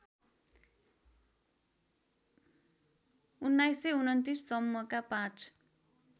१९२९ सम्मका पाँच